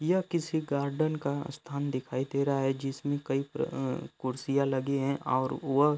यह किसी गार्डन का स्थान दिखाई दे रहा है जिसमें कई प्र अ कुर्सियाँ लगे हैं और वह --